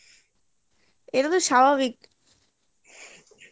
এটা তো স্বাভাবিক